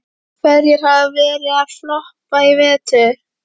Hverjir hafa verið að floppa í vetur?